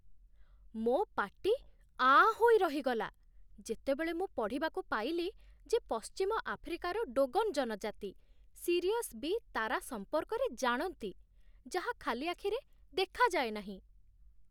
ମୋ ପାଟି ଆଁ ହୋଇ ରହିଗଲା, ଯେତେବେଳେ ମୁଁ ପଢ଼ିବାକୁ ପାଇଲି ଯେ ପଶ୍ଚିମ ଆଫ୍ରିକାର ଡୋଗନ୍ ଜନଜାତି 'ସିରିୟସ୍ ବି' ତାରା ସମ୍ପର୍କରେ ଜାଣନ୍ତି, ଯାହା ଖାଲି ଆଖିରେ ଦେଖାଯାଏ ନାହିଁ।